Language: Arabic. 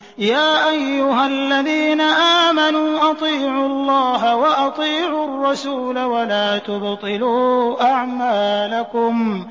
۞ يَا أَيُّهَا الَّذِينَ آمَنُوا أَطِيعُوا اللَّهَ وَأَطِيعُوا الرَّسُولَ وَلَا تُبْطِلُوا أَعْمَالَكُمْ